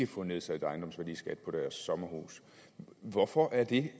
få nedsat ejendomsværdiskat på deres sommerhus hvorfor er det